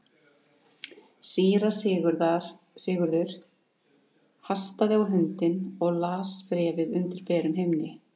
Síra Sigurður hastaði á hundinn og las bréfið undir berum himni.